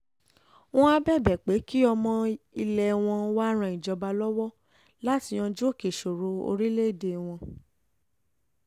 wọ́n áà bẹ̀bẹ̀ pé kí ọmọ um ilẹ̀ wọn wàá ran ìjọba lọ́wọ́ láti yanjú òkè ìṣòro um orílẹ̀‐èdè wọn